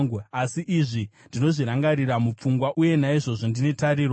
Asi izvi ndinozvirangarira mupfungwa uye naizvozvo ndine tariro: